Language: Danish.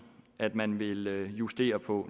at man vil justere på